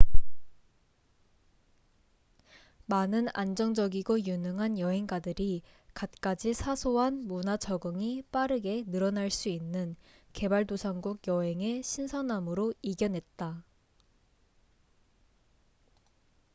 많은 안정적이고 유능한 여행가들이 갖가지 사소한 문화 적응이 빠르게 늘어날 수 있는 개발도상국 여행의 신선함으로 이겨냈다